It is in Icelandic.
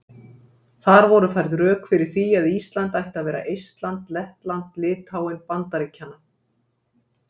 Þar voru færð rök fyrir því að Ísland ætti að vera Eistland Lettland Litháen Bandaríkjanna.